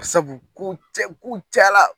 Sabu kow cɛ kow cayala